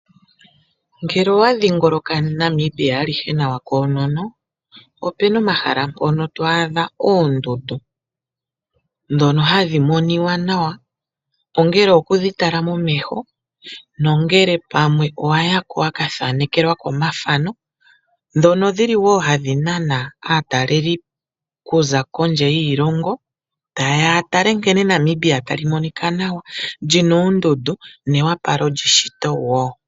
Ngele owa dhingoloka Namibia alihe nawa koonono, opuna omahala mpoka twaadha oondundu ndhono hadhi moniwa nawa ongele okudhi tala momeho nongele pamwe owa yako wa kathaanekelwako omathano, ndhono dhili wo hadhi nana aataleli kuza kondje yoshilongo tayeya ya tale nkene Namibia tali monika nawa, lina oondundu newapalo lyeshito wo.